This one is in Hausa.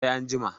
sai an jima?